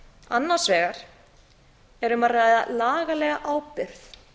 annars vegar er um að ræða lagalega ábyrgð